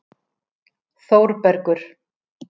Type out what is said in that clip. Þórbergur